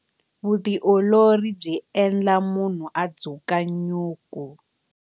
Vutiolori byi endla munhu a dzukanyuku.